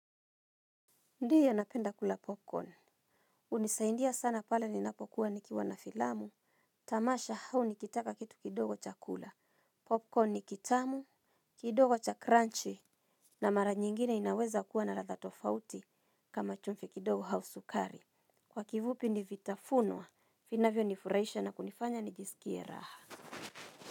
Ndiye napenda kula popcorn. Hunisaindia sana pale ninapokuwa nikiwa na filamu. Tamasha hau nikitaka kitu kidogo cha kula. Popcorn nikitamu, kidogo cha crunchy. Na mara nyingine inaweza kuwa na ratha tofauti kama chumvi kidogo hau sukari. Kwa kivupi nivitafunwa, vinavyo nifurahisha na kunifanya nijisikie raha.